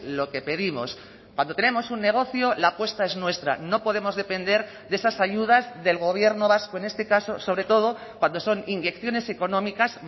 lo que pedimos cuando tenemos un negocio la apuesta es nuestra no podemos depender de esas ayudas del gobierno vasco en este caso sobre todo cuando son inyecciones económicas